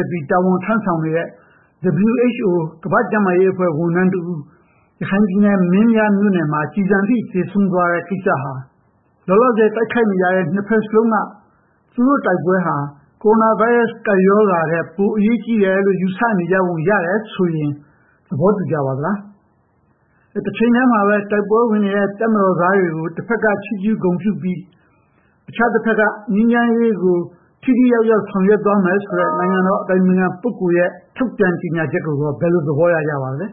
က် တာဝန်ထမ်းဆောင်နေတဲ့ WHO ကမ္ဘာ့ကျန်းမာရေးဝန်ထမ်းတဦး ရခိုင်ပြည်နယ် မင်းပြားမြို့နယ်မှာ ကျည်ဆံထိမှန် သေဆုံးသွားတဲ့ဖြစ်ရပ်ကို ကြည့်ရင် လောလောဆယ် တိုက်ခိုက်နေကြတဲ့ နှစ်ဘက်စလုံးဟာ၊ သူတို့တိုက်ပွဲတွေက coronavirus ကပ်ရောဂါထက် ပိုအရေးကြီးတယ်လို့ ယူဆနေကြပုံရတယ်ဆိုရင် သောတရှင်များ သဘောတူကြပါသလား။ တချိန်တည်းမှာပဲ ဒီတိုက်ပွဲမှာပါဝင်နေတဲ့ တပ်မတော်သားတွေကို တဘက်က ချီးကျူးပြီး၊ ကျန်တဘက်မှာ ငြိမ်းချမ်းရေးရအောင် မမှိတ်မသုံ ဆောင်ရွက်သွားမယ်ဆိုတဲ့ နိုင်ငံတော် အတိုင်င်ခံပုဂ္ဂိုလ်ရဲ့ကျေညာချက်ကိုကော ဘယ်လိုသဘောရကြပါသလဲ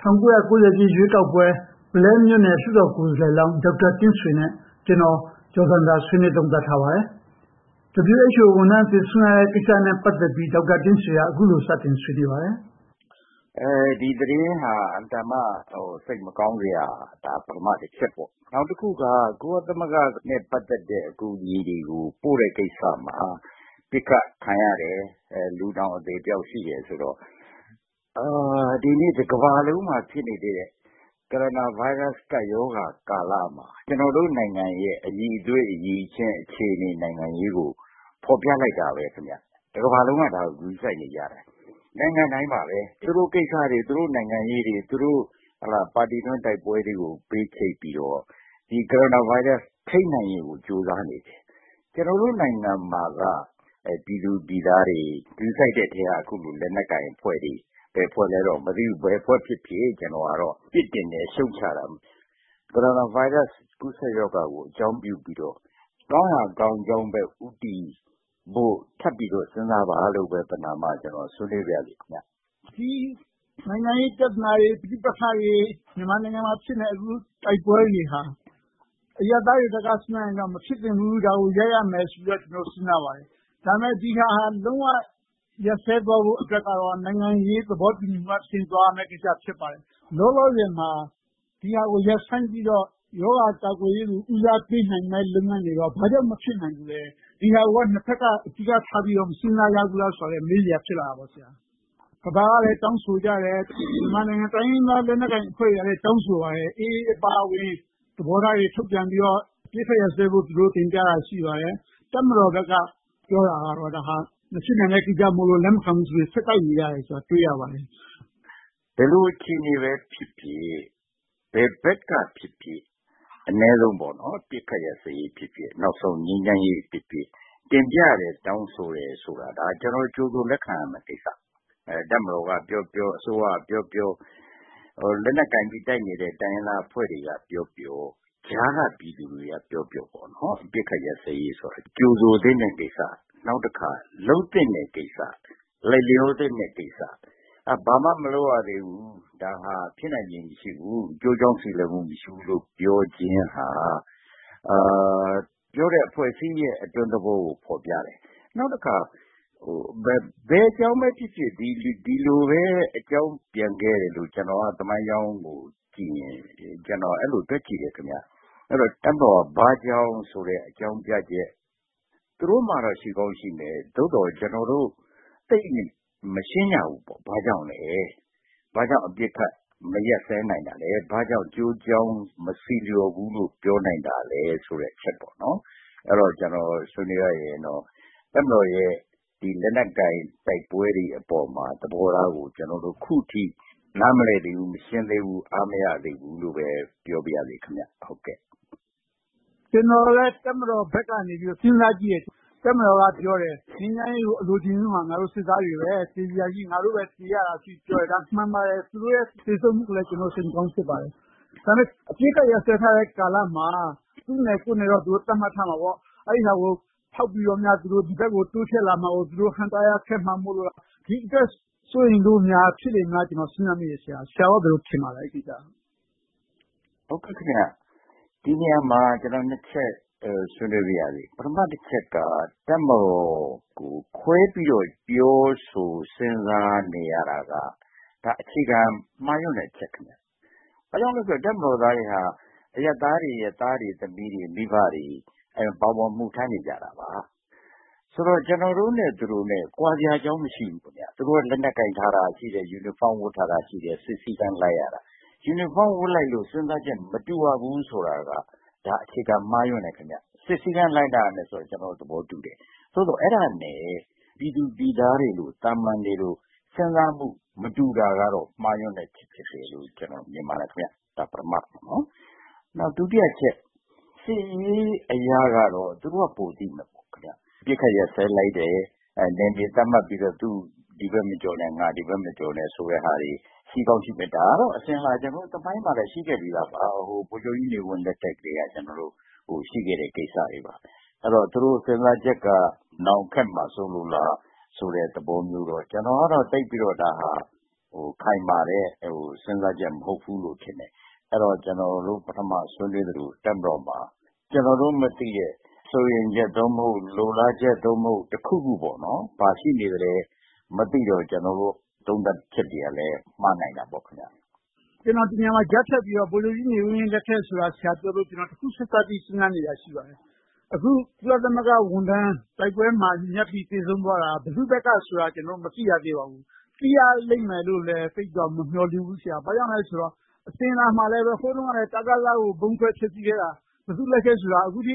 ။ ၁၉၉၀ ပြည့်ရွေးကောက်ပွဲ ပုလဲမြို့နယ်ပြည်သူ့လွှတ်တော် ကိုယ်စားလှယ်လောင်း ဒေါက်တာတင့်ဆွေနဲ့ ကျွန်တော် ကျော်ဇံသာတို့ ဆွေးနွေးသုံးသပ်ထားပါတယ်။ WHO ဝန်ထမ်းသေဆုံးရတဲ့ကိစ္စနဲ့ ပတ်သက်လို့ ဒေါက်တာတင့်ဆွေက အခုလို စပြောပါတယ်။ ဖြေ ။ ။ ဒီသတင်းဟာ အင်မတန်မှ စိတ်မကောင်းစရာပါ။ ဒါက ပထမတစ်ချင်ပေါ့။ နောက်တစ်ခုက ကုလသမဂ္ဂနဲ့ ပတ်သက်တဲ့ အကူအညီတွေကို ပို့တဲ့ကိစ္စမှာ ပစ်ခတ်ခံရတယ်။ လူတောင် အသေအပျောက်ရှိတယ်ဆိုတော့ ဒီနေ့ တကမ္ဘာလုံးမှာ ဖြစ်နေတဲ့ ကိုရိုနာဗိုင်းရပ်စ်ကပ်ရောဂါ ကာလမှာ ကျနော်တို့နိုင်ငံရဲ့ အရည်အသွေး၊ အရည်အချင်း၊ အခြေအနေ နိုင်ငံရေးကို ဖော်ပြလိုက်တာပဲ။ တကမ္ဘာလုံးက ဒါကို ဂရုစိုက်နေကြတယ်။ နိုင်ငံတိုင်းပါပဲ - သူတို့နိုင်ငံ၊ သူတို့ကိစ္စတွေ၊ သူတို့ပါတီတွင်း တိုက်ပွဲတွေကို ဘေးချိတ်ပြီးတော့ ဒီကိုရိုနာဗိုင်းရပ်စ် ထိန်းချုပ်နိုင်ရေးကို ကြိုးစားနေတယ်။ ကျနော်တို့နိုင်ငံမှာက ပြည်သူပြည်သားတွေ ဂရုစိုက်တဲ့ထဲက အခုလို လက်နက်ကိုင်အဖွဲ့တွေ ဘယ်အဖွဲ့လဲတော့ မသိဘူး။ ဘယ်အဖွဲ့ဖြစ်ဖြစ် ကျနော်ကတော့ ပြစ်တင်တယ်၊ ရှုတ်ချတယ်။ ကိုရိုနာဗိုင်းရပ်စ် ကူးစက်ရောဂါကို အကြောင်းပြုပြီးတော့ ကောင်းရာကောင်းကြောင်းဘက် ဦးတည်ဖို့ ထပ်ပြီးတော့ စဉ်းစားကြဖို့ ပဏမ ဆွေးနွေးပါရစေ။ မေး ။ ။ ဒီနိုင်ငံရေးပြဿနာတွေ၊ ပဋိပက္ခတွေ၊ မြန်မာနိုင်ငံမှာ အခုဖြစ်နေတဲ့ တိုက်ပွဲတွေဟာ အရပ်သားတွေဘက်က စဉ်းစားရင်တော့ မဖြစ်သင့်ဘူး၊ ဒါကိုရပ်ရမယ်ဆိုပြီးတော့ စဉ်းစားပါတယ်။ ဒါပေမဲ့ ဒီဟာက လုံးဝရပ်စဲသွားဖို့အတွက်ကတော့ နိုင်ငံရေးသဘောတူညီမှုအဆင့်ကို သွားရမှာ ဖြစ်ပါတယ်။ လောလောဆယ်မှာ ဒီဟာကိုရပ်ဆိုင်းပြီးတော့ ရောဂါကာကွယ်ရေးကို ဦးစားပေးနိုင်မယ့် လုပ်ငန်းတွေကို ဘာကြောင့်များ မဖြစ်နိုင်ဘူးလဲ။ ဒီဟာကို နှစ်ဘက်က အဓိကထားပြီးတော့ မစဉ်းစားကြဘူးလားဆိုတာလဲ မေးစရာ ဖြစ်လာတယ်။ ကမ္ဘာကလည်း တောင်းဆိုကြတယ်။ မြန်မာနိုင်ငံ တိုင်းရင်းသားလက်နက်ကိုင်အဖွဲ့တွေကလည်း တောင်းဆိုပါတယ်။ AA အပါအဝင် သဘောထားတွေ ထုတ်ပြန်ပြီးတော့ အပစ်အခတ်ရပ်စဲဖို့ သူတို့တင်ပြတာ ရှိပါတယ်။ တပ်မတော်ဘက်က ပြောတာကတော့ ဒါဟာ မဖြစ်နိုင်တဲ့ကိစ္စမို့ လက်မခံနိုင်ဘူးဆိုပြီး ဆက်တိုက်နေတာကို တွေ့ရပါတယ်။ ဖြေ ။ ။ ဘယ်လိုအခြေအနေပဲဖြစ်ဖြစ်၊ ဘယ်ဘက်ကဖြစ်ဖြစ်၊ အနည်းဆုံး အပစ်အခတ်ရပ်စဲရေးဖြစ်ဖြစ်၊ နောက်ဆုံး ငြိမ်းချမ်းရေးဖြစ်ဖြစ် တင်ပြတယ်။ တောင်းဆိုတယ်ဆိုတာကို ကျနော်တို့ ကြိုဆိုလက်ခံရမယ့်ကိစ္စ။ တပ်မတော်ကပြောပြော၊ အစိုးရကပြောပြော၊ လက်နက်ကိုင်ပြီး တိုက်နေတဲ့ တိုင်းရင်းသားအဖွဲ့တွေကပြောပြော၊ ကြားကပြည်သူတွေကပြောပြော အပစ်ခတ်ရပ်စဲရေးဆိုတာ ကြိုဆိုသင့်တဲ့ကိစ္စ။ နောက်တခါ လုပ်သင့်တဲ့ကိစ္စ။ လိုက်လျောသင့်တဲ့ကိစ္စ။ ဘာမှမလုပ်ရသေးဘူး။ ဒါဟာ ဖြစ်နိုင်ချေ မရှိဘူး။ အကျိုးအကြောင်း ဆီလျော်မှု မရှိဘူးလို့ ပြောခြင်းဟာ ပြောတဲ့အဖွဲ့အစည်းရဲ့ အတွင်းသဘောကို ဖော်ပြတယ်။ နောက်တခါ ဘယ်အကြောင်းပဲဖြစ်ဖြစ်၊ ဒီလိုပဲ အကြောင်းပြန်ခဲ့တယ်လို့ သမိုင်းကြောင်းကိုကြည့်ရင် ကျနော် အဲဒီလိုတွက်ကြည့်တယ်။ တပ်မတော်က ဘာကြောင့်ဆိုတဲ့ အကြောင်းပြချက် သူတို့မှာတော့ ရှိကောင်းရှိမယ်၊ သို့သော် ကျနော်တို့ သိပ်မရှင်းကြဘူး။ ဘာကြောင့်လဲ။ ဘာကြောင့် အပစ်ခတ်မရပ်စဲနိုင်တာလဲ။ ဘာကြောင့် အကျိုးအကြောင်း မဆီလျော်ဘူးလို့ ပြောနိုင်တာလဲဆိုတဲ့ အချက်တွေပါ။ အဲဒါကို ကျနော် ဆွေးနွေးရရင်တော့ တပ်မတော်ရဲ့ လက်နက်ကိုင်တိုက်ပွဲတွေအပေါ်မှာ ထားရှိတဲ့သဘောထားကို ကျနော်တို့ အခုထိ နားမလည်သေးဘူး၊ မရှင်းသေးဘူ၊ အားမရသေးဘူးလို့ပဲ ပြောပါရစေ။ မေး ။ ။ ကျနော်လည်း တပ်မတော်ဘက်ကနေ စဉ်းစားကြည့်တယ် တပ်မတော်ကပြောတယ် ငြိမ်းချမ်းရေးကို အလိုချင်ဆုံးဟာ ငါတို့စစ်သားတွေပဲ သေစရာရှိ ငါတို့ပဲသေရတာလို့ ပြောတာ မှန်ပါတယ်။ ဒါဟာ သူတို့ရဲ့ သေဆုံးမှုကိုလဲ ကျနော်တို့ စိတ်မကောင်း ဖြစ်မိပါတယ်။ ဒါပေမဲ့ အပစ်အခတ်ရပ်စဲထားတဲ့ ကာလမှာ သူ့နယ်ကိုယ့်နယ်တော့ သတ်မှတ်ထားမှာပေါ့။ အဲဒါကို ဖောက်ပြီးတော့များ ဒီဘက်ကို တိုးချဲ့လာမှာကို ဟန့်တားရမှာ ခက်မှာမို့လို့ ဒီအတွက် စိုးရိမ်လို့များ ဖြစ်နေမလားလို့ ကျနော် စဉ်းစားမိတယ်။ ဆရာအနေနဲ့ ဘယ်လိုထင်ပါသလဲ။ ဖြေ ။ ။ ဒီနေရာမှာ ကျနော် နှစ်ချက် ဆွေးနွေးပါရစေ။ ပထမအချက်က တပ်မတော်ကို ခွဲပြီးတော့ ပြောဆိုစဉ်းစားနေရာတာက ဒါ အခြေခံမှားယွင်းတဲ့ အချက် ဖြစ်တယ်။ ဘာကြောင့်လဲဆိုတော့ တပ်မတော်သားတွေက အရပ်သားတွေရဲ့ သားတွေ၊ သမီးတွေ၊ မိဘတွေ ပါဝင် အမှုထမ်းနေကြတာပါ။ ဆိုတော့ ကျနော်တို့နဲ့သူတို့ ကွာခြားစရာအကြောင်း မရှိဘူး။ သူတို့က လက်နက်ကိုင်ထားတယ်၊ ယူနီဖောင်းဝတ်ထားတယ်၊ စစ်စည်းကမ်းလိုက်ရတာ။ ယူနီဖောင်းဝတ်လိုက်လို့ စဉ်းစားချက် မတူရဘူးဆိုတာက ဒါ အခြေခံမှားယွင်းတယ်။ စစ်စည်းကမ်းလိုက်နာရမယ်ဆိုတာကို ကျနော် သဘောတူတယ်။ သို့သော် အဲဒါနဲ့ ပြည်သူပြည်သားတွေလို၊ သာမန်တွေလို စဉ်းစားမှု မတူတာကတော့ မှားယွင်းတဲ့အချက် ဖြစ်တယ်လို့ ကျနော် မြင်ပါတယ်။ ဒါက ပထမအချက်။ ဒုတိယအချက်က စစ်ရေးအရကတော့ သူတို့က ပိုသိမယ်။ ပစ်ခတ်ရပ်စဲလိုက်တယ်။ နယ်မြေသတ်မှတ်လိုက်ပြီးတော့ သူ ဒီဘက်မကျော်နဲ့၊ ငါ ဒီဘက်မကျော်နဲ့ ဆိုတဲ့ဟာတွေ ရှိကောင်းရှိမယ်။ ဒါကတော့ အစဉ်အလာ သမိုင်းမှာလဲ ရှိခဲ့ပြီးသာပါ။ ဗိုလ်ချုပ်ကြီးနေဝင်းလက်ထက်ကတည်းက ရှိခဲ့တဲ့ကိစ္စပါ။ အဲဒီတော့ သူတို့စဉ်းစားချက်က နောင်ခက်မှာစိုးလို့လား သဘောမျိုးလားကိုတော့ ကျနော်ကတော့ သိပ်ပြီးတော့ ဒါက ခိုင်မာတဲ့ စဉ်းစားချက် မဟုတ်ဘူးလို့ ထင်တယ်။ အဲဒီတော့ ကျနော်တို့ ပထမဆွေးနွေးသလို တပ်မတော်မှာ ကျနော်တို့မသိတဲ့ စိုးရိမ်ချက် သို့မဟုတ် လိုလားချက် သို့မဟုတ် တစ်ခုခု ဘာရှိနေသလဲ မသိတော့၊ ကျနော်တို့ သုံးသပ်ချက်တွေကလဲ မှားနိုင်တာပေါ့။ မေး ။ ။ ကျနော် ဒီနေရာမှာ ကြားဖြတ်ပြီးတော့ ဗိုလ်ချုပ်ကြီးနေဝင်းလက်ထက်ဆိုတာကို ဆရာပြောလို့ တစ်ခုချိတ်ဆက်ပြီး စဉ်းစားနေတာ ရှိပါတယ်။ အခု ကုလသမဂ္ဂဝန်ထမ်း တိုက်ပွဲမှာညှပ်ပြီး သေဆုံးသွားတာ ဘယ်သူဘက်ကဆိုတာ ကျနော်တို့ မသိရသေးပါဘူး။ သိရလိမ့်မယ်လို့လဲ သိပ်ပြီးတော့ မမျှော်လင့်ဘူး ဆရာ။ ဘာဖြစ်လို့လဲဆိုတော့ အစဉ်အလာမှာလဲ၊ ဟိုတုန်းကလဲ တကသ ကို ဗုံးခွဲဖျက်ဆီးခဲ့တာ ဘယ်သူလက်ချက်လဲဆိုတာ အခုထိ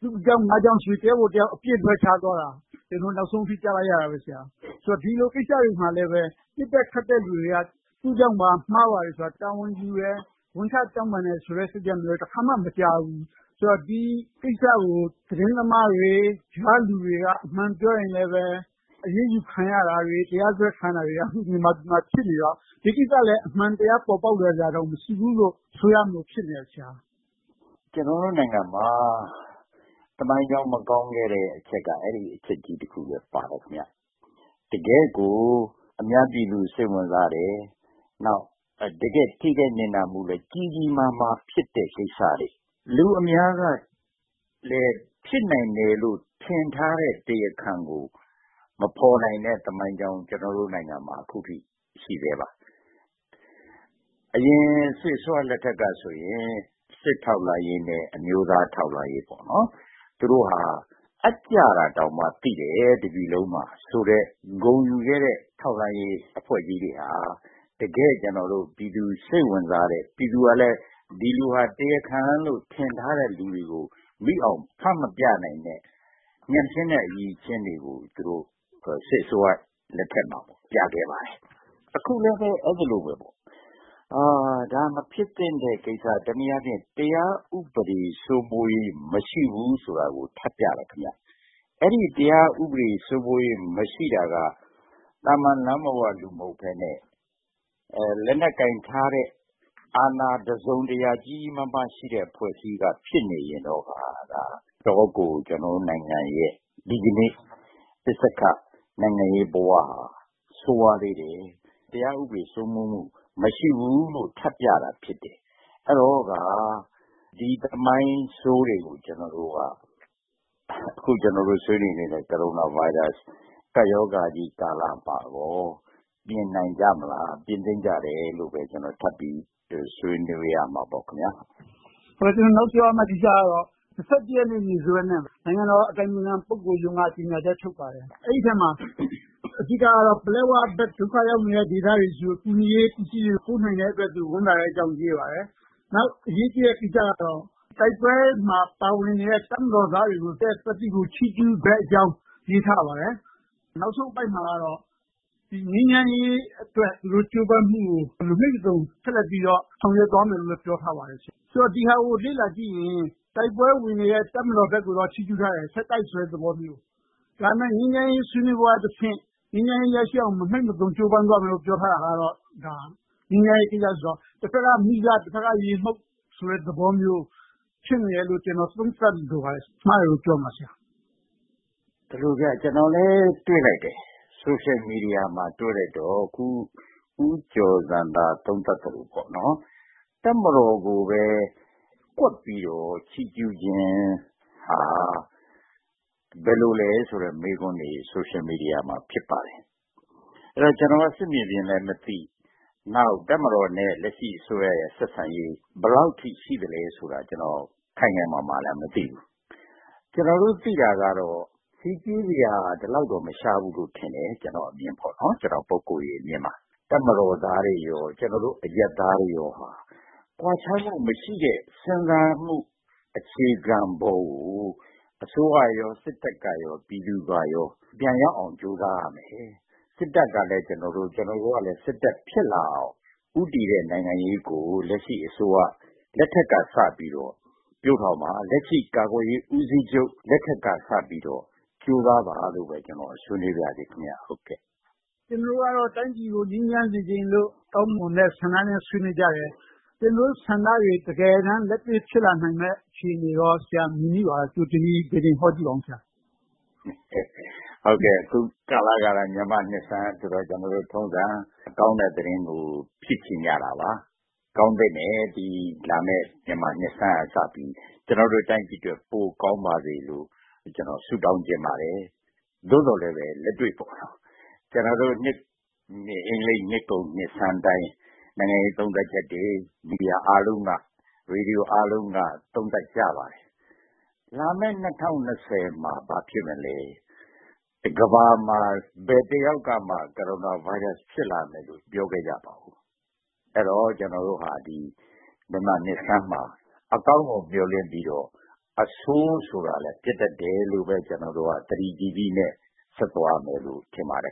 သူ့ကြောင့်ငါ့ကြောင့်ဆိုပြီး တစ်ယောက်ကိုတစ်ယောက် အပြစ်လွှဲချသွားတာ၊ နောက်ဆုံးအထိ ကြားလိုက်ရတယ်။ ဆိုတော့ ဒီလိုကိစ္စတွေမှာလဲ ပစ်တဲ့ခတ်တဲ့လူတွေက သူ့ကြောင့်ပါဆိုပြီး မှားတယ်လို့ တာဝန်ယူတယ်၊ ဝန်ချတောင်းပန်တယ်ဆိုတဲ့ စိတ်ဓါတ်မျိုးလဲ တစ်ခါမှ မကြားဖူးဘူး။ ဆိုတော့ ဒီကိစ္စကို သတင်းသမားတွေ၊ ရွာကလူတွေက အမှန်ပြောရင်လဲ အရေးယူခံရတာတွေ၊ တရားစွဲခံရတာတွေကလဲ မြန်မာပြည်မှာ ဖြစ်နေတော့ ဒီကိစ္စလဲ အမှန်တရား ပေါ်ပေါက်လာစရာအကြောင်း မရှိဘူးလို့ ဆိုရမလို ဖြစ်နေတယ်။ ဖြေ ။ ။ ကျနော်တို့နိုင်ငံမှာ သမိုင်းကြောင်းမကောင်းခဲ့တဲ့ အချက်က အဲဒီအချက်ကြီးတစ်ခုလဲ ပါတယ်။ တကယ့်ကို အများပြည်သူ စိတ်ဝင်စားတဲ့၊ တကယ့်ထိခိုက်နစ်နာမှုလဲ ကြီးကြီးမားမား ဖြစ်တဲ့ကိစ္စတွေ။ လူအများကလဲ ဖြစ်နိုင်တယ်လို့ ထင်ထားတဲ့ တရားခံကို မဖော်နိုင်တဲ့ သမိုင်းကြောင်း၊ ကျနော်တို့နိုင်ငံမှာ အခုထိ ရှိဆဲပါ။ အရင်စစ်အစိုးရလက်ထက်ကဆိုရင် စစ်ထောက်လှမ်းရေးနဲ့ အမျိုးသားထောက်လှမ်းရေးတို့က အပ်ကျတောင်မှ တပြည်လုံးမှာ သိတယ်ဆိုတဲ့ ဂုဏ်ယူခဲ့တဲ့ ထောက်လှမ်းရေးအဖွဲ့ကြီးတွေဟာ တကယ့်ပြည်သူစိတ်ဝင်စားတဲ့၊ ပြည်သူကလဲ ဒီလူဟာ တရားခံလို့ ထင်ထားတဲ့လူတွေကို မိအောင်ဖမ်းမပြနိုင်တဲ့ ညံ့ဖျင်းတဲ့အရည်အချင်းတွေကို သူတို့စစ်အစိုးရလက်ထက်မှာ ပြခဲ့ပါတယ်။ အခုလဲပဲ အဲဒီလိုပါပဲ ဒါက မဖြစ်သင့်တဲ့ကိစ္စ။ တနည်းအားဖြင့် တရားဥပဒေစိုးမိုးရေး မရှိဘူးဆိုတာကို ထပ်ပြတာဖြစ်တယ်။ အဲဒီတရားဥပဒေ စိုးမိုးရေးမရှိတာက သာမန်လမ်းပေါ်က လူမဟုတ်ဘဲနဲ့ လက်နက်ကိုင်ထားတဲ့ အာဏာတစုံတရာ ကြီးကြီးမားမားရှိတဲ့ အဖွဲ့အစည်းက ဖြစ်နေရင်တော့ ဒါက အတော်လေးကို ကျနော်တို့နိုင်ငံရဲ့ ဒီကနေ ပစ္စက္ခနိုင်ငံရေးဘဝဟာ ဆိုးဝါးသေးတယ်။ တရားဥပဒေစိုးမိုးမှု မရှိသေးဘူးဆိုတာကို ထပ်ပြတာ ဖြစ်တယ်။ အဲဒီတော့က ဒီသမိုင်းဆိုးတွေကို ကျနော်တို့က အခုကျနော်တို့ ဆွေးနွေးနေတဲ့ ကိုရိုနာဗိုင်းရပ်စ် ကပ်ရောဂါကြီးကာလမှာ ပြင်နိုင်ကြမလား။ ပြင်သင့်ကြတယ်လို့ပဲ ကျနော်ထပ်ပြီးတော့ ဆွေးနွေးချင်ပါတယ်။ မေး ။ ။ ကျနော် နောက်ပြောလိုတဲ့ကိစ္စကတော့ ရက်နေ့စွဲနဲ့ နိုင်ငံတော်အတိုင်ပင်ခံ ပုဂ္ဂိုလ်ရုံးကနေ ကျေညာချက်ထုတ်ပြန်ပါတယ်။ အဲဒီအထဲမှာ အဓိကတော့ ပလက်ဝဘက်မှာ ဒုက္ခရောက်နေတဲ့ လူတွေဆီကို ကူညီထောက်ပံ့ရေးပစ္စည်းတွေ ပို့နိုင်တဲ့အတွက် သူ့အနေနဲ့ ဝမ်းသာကြောင်းကို ရေးထားပါတယ်။ နောက်အရေးကြီးတဲ့ကိစ္စကတော့ တိုက်ပွဲမှာပါဝင်နေတဲ့ တပ်မတော်သားတွေရဲ့ သတ္တိကို ချီးကျူးတဲ့အကြောင်း ရေးထားပါတယ်။ နောက်ဆုံးအပိုဒ်မှာတော့ ငြိမ်းချမ်းရေးအတွက် သူတို့ကြိုးပမ်းမှုကို မမှိတ်မသုန် ဆက်လက်ပြီးတော့ ဆောင်ရွက်သွားမယ်လို့လည်း ပြောထားပါတယ်။ ဆိုတော့ ဒီဟာကို လေ့လာကြည့်ရင် တိုက်ပွဲဝင်နေတဲ့ တပ်မတော်ဘက်ကိုတော့ ချီးကျူးထားတယ်။ ဆက်တိုက်ဆိုတဲ့သဘောမျိုး။ ဒါပေမဲ့ ငြိမ်းချမ်းရေးဆွေးနွေးပွဲကတဆင့် ငြိမ်းချမ်းရေးရရှိအောင် မမှိတ်မသုန် ကြိုးပမ်းသွားမယ်လို့ ပြောထားတာကတော့ တဘက်က မီးစ၊ တဘက်ကရေမှုတ်ဆိုတဲ့ သဘောမျိုး ဖြစ်နေတယ်လို့ ကျနော် သုံးသပ်လိုပါတယ်။ အဲဒါကို မှားတယ်လို့ ပြောမလား။ ဖြေ ။ ။ ကျနော်လဲ တွေ့လိုက်တယ်။ ဆိုရှယ်မီဒီယာမှာ တွေ့လိုက်တော့ အခု ဦးကျော်ဇံသာ သုံးသပ်သလို တပ်မတော်ကိုပဲ ကွက်ပြီးတော့ ချီးကျူးခြင်းဟာ ဘယ်လိုလဲဆိုတဲ့ မေးခွန်းတွေ ဆိုရှယ်မီဒီယာမှာ ဖြစ်ပါတယ်။ အဲဒီတော့ ကျနော်က စစ်မြေပြင်လဲ မသိ၊ နောက် တပ်မတော်နဲ့ လက်ရှိအစိုးရ ဆက်ဆံရေး ဘယ်လောက်အထိ ရှိသလဲဆိုတာလဲ ကျနော် ခိုင်ခိုင်မာမာလဲ မသိဘူး။ ကျနော်တို့သိတာကတော့ --စရာ ဒီလောက်တော့ မရှားဘူးလို့ ထင်တယ်။ ကျနော့် ပုဂ္ဂိုလ်ရေးအမြင်မှာ တပ်မတော်သားတွေ၊ ကျနော်တို့အရပ်သားတွေမှာ ကွာခြားမှုမရှိတဲ့ စဉ်းစားမှုအခြေခံပေါ်ကို အစိုးရ၊ စစ်တပ်၊ ပြည်သူတို့က ပြန်ရအောင် ကြိုးစားရမယ်။ စစ်တပ်ကလဲ ကျနော်တို့၊ ကျနော်တို့ကလဲ စစ်တပ် ဖြစ်လာအောင် ဦးတည်တဲ့ နိုင်ငံရေးကို လက်ရှိအစိုးရလက်ထက်ကစပြီးတော့ ပျိုးထောင်ပါ။ လက်ရှိကာကွယ်ရေး ဦးစီးချုပ်လက်ထက်ကစပြီးတော့ ကြိုးစားပါလို့ပဲ ကျနော် ဆွေးနွေးပါရစေ။ မေး ။ ။ ကျနော်တို့ကတော့ တိုင်းပြည်ကို ငြိမ်းချမ်းစေချင်လို့ ကောင်းမွန်တဲ့ဆန္ဒနဲ့ ဆွေးနွေးကြတယ်။ ကျနော်တို့ဆန္ဒတွေ တကယ်တမ်းလက်တွေ့ ဖြစ်လာနိုင်တဲ့ အခြေအနေကော ဆရာမြင်မိပါသလား။ ကြိုတင်ပြီး ဗေဒင်ဟောကြည့်ပါအုံး။ ဖြေ ။ ။ အခုကာလက မြန်မာ့နှစ်ဆန်းဆိုတော့ ကျနော်တို့ထုံးစံအတိုင်း ကောင်းတဲ့သတင်းကို ဖြစ်ချင်ကြတာပါ။ ကောင်းသင့်တယ်။ လာမယ့်မြန်မာနှစ်ဆန်းကစပြီး ကျနော်တို့တိုင်းပြည်အတွက် ပိုကောင်းပါစေလို့ ဆုတောင်းချင်ပါတယ်။ သို့သော်လဲ လက်တွေ့မှာတော့ ကျနော်တို့ အင်္ဂလိပ်နှစ်ကုန်နှစ်ဆန်းတိုင်း နိုင်ငံရေးသုံးသပ်ချက်တွေ မီဒီယာအားလုံး၊ ရေဒီယိုအားလုံးက သုံးသပ်ကြပါတယ်။ လာမယ့် ၂၀၂၀ မှာ ဘာဖြစ်မလဲ။ ကမ္ဘာမှာ ဘယ်တစ်ယောက်ကမှ ကိုရိုနာဗိုင်းရပ်စ် ဖြစ်လာမယ်လို မပြောခဲ့ကြပါဘူး။ အဲဒီတော့ ကျနော်တို့ဟာ မြန်မာ့နှစ်ဆန်းမှာ အကောင်းကိုမျှော်လင့်ပြီးတော့ အဆိုးဆိုတာလဲ ဖြစ်တတ်တယ်လို့ ကျနော်တို့က သတိကြီးကြီးနဲ့ ဆက်သွားရမယ်လို့ ထင်ပါတယ်